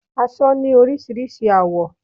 Aṣọ ni orísirísi àwọ́